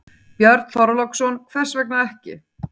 Björn Þorláksson: Hvers vegna ekki?